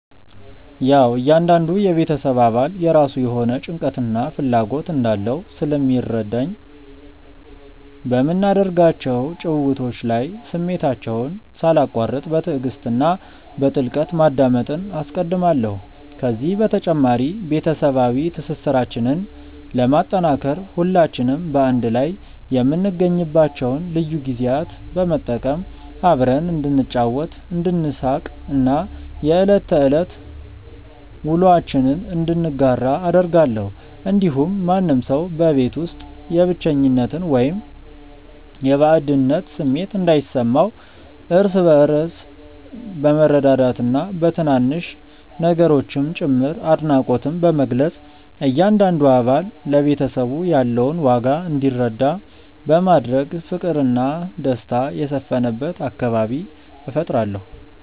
ያዉ እያንዳንዱ የቤተሰብ አባል የራሱ የሆነ ጭንቀትና ፍላጎት እንዳለው ስለሚረዳኝ፣ በምናደርጋቸው ጭውውቶች ላይ ስሜታቸውን ሳላቋርጥ በትዕግስት እና በጥልቀት ማዳመጥን አስቀድማለሁ። ከዚህ በተጨማሪ፣ ቤተሰባዊ ትስስራችንን ለማጠናከር ሁላችንም በአንድ ላይ የምንገኝባቸውን ልዩ ጊዜያት በመጠቀም አብረን እንድንጫወት፣ እንድንሳቅ እና የዕለት ተዕለት ውሎአችንን እንድንጋራ አደርጋለሁ። እንዲሁም ማንም ሰው በቤት ውስጥ የብቸኝነት ወይም የባዕድነት ስሜት እንዳይሰማው፣ እርስ በእርስ በመረዳዳትና በትናንሽ ነገሮችም ጭምር አድናቆትን በመግለጽ እያንዳንዱ አባል ለቤተሰቡ ያለውን ዋጋ እንዲረዳ በማድረግ ፍቅርና ደስታ የሰፈነበት አካባቢ እፈጥራለሁ።